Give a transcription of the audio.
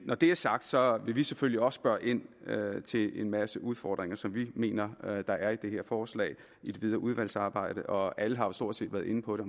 når det er sagt sagt vil vi selvfølgelig også spørge ind til en masse udfordringer som vi mener der er i det her forslag i det videre udvalgsarbejde og alle har jo stort set været inde på det